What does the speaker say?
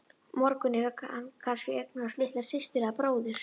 morgun hefur hann kannski eignast litla systur eða bróður.